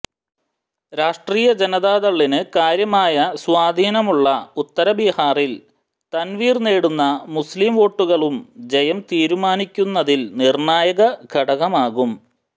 രാഷ്ട്രീയ ജനതാദളിന് കാര്യമായ സ്വാധീനമുള്ള ഉത്തര ബീഹാറിൽ തൻവീർ നേടുന്ന മുസ്ലീം വോട്ടുകളും ജയം തീരുമാനിക്കുന്നതിൽ നിർണ്ണായക ഘടകമാകും